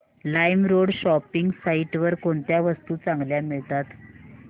LimeRoad shopping site वर कोणत्या वस्तू चांगल्या मिळतात